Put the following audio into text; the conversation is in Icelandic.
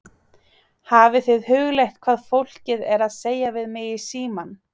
Hafið þið hugleitt hvað fólkið er að segja við mig í símann?